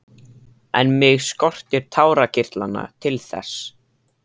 En mig skortir tárakirtlana til þess.